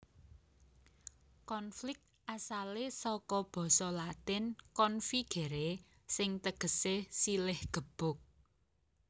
Konflik asalé saka basa Latin configere sing tegesé silih gebuk